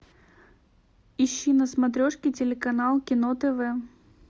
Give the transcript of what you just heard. ищи на смотрешке телеканал кино тв